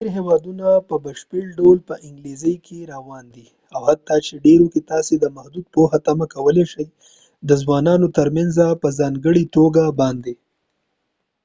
ډیر هیوادونه په بشپړ ډول په انګلیسي کې روان دي او حتی په ډیرو کې تاسي د محدود پوهه تمه کولی شئ د ځوانانو ترمنيځ په ځانګړي توګه باندي